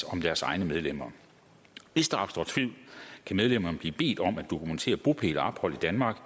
om deres egne medlemmer hvis der opstår tvivl kan medlemmerne blive bedt om at dokumentere bopæl og ophold i danmark